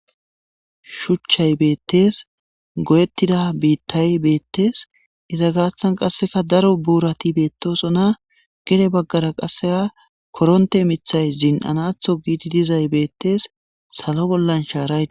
Shuchchay beettes godettida biittay beettees iza gaathan qasseka daro buurati beettoso na gede baggara qasseka koronte mithay zin'anatho giidi dizay beettees salo bollan shaaraye.